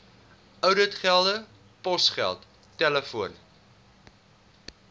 ouditgelde posgeld telefoon